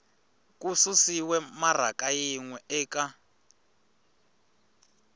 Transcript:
susiwe maraka yin we eka